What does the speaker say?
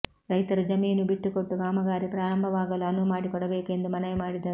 ರೈತರು ಜಮೀನು ಬಿಟ್ಟುಕೊಟ್ಟು ಕಾಮಗಾರಿ ಪ್ರಾರಂಭವಾಗಲು ಅನುವು ಮಾಡಿಕೊಡಬೇಕು ಎಂದು ಮನವಿ ಮಾಡಿದರು